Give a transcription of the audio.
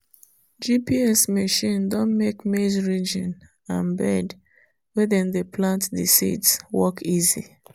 gps machine don make maize ridging and bed wey them dey plant the seeds work easy.